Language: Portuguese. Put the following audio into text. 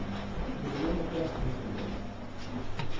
O português é péssimo vendedor.